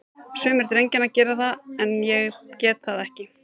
Sumir drengjanna gera það, en ég get það ekki.